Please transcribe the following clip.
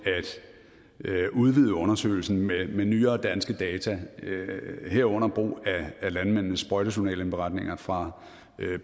at udvide undersøgelsen med med nyere danske data herunder landmændenes sprøjtejournalindberetninger fra